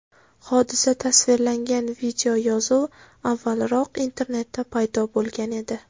Hodisa tasvirlangan videoyozuv avvalroq internetda paydo bo‘lgan edi.